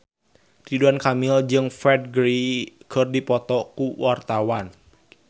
Ridwan Kamil jeung Ferdge keur dipoto ku wartawan